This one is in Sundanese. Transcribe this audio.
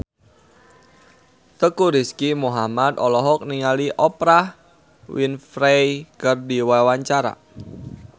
Teuku Rizky Muhammad olohok ningali Oprah Winfrey keur diwawancara